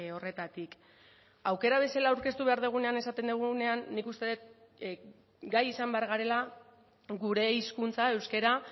horretatik aukera bezala aurkeztu behar dugunean esaten dugunean nik uste dut gai izan behar garela gure hizkuntza euskara